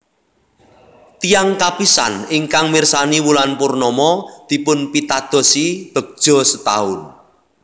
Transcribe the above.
Tiyang kapisan ingkang mirsani wulan purnama dipunpitadosi begja setaun